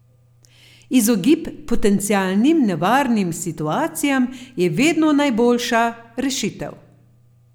Izogib potencialnim nevarnim situacijam je vedno najboljša rešitev!